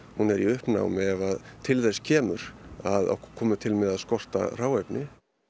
hún er í uppnámi ef til þess kemur að okkur komi til með að skorta hráefni